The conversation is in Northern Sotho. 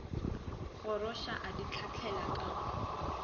goroša a di hlahlela ka